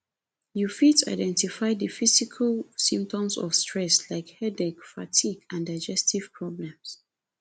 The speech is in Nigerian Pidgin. you fit identify di physical symptoms of stress like headaches fatigue and digestive problems